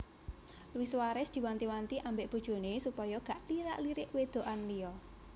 Luis Suarez diwanti wanti ambek bojone supaya gak lirak lirik wedokan liya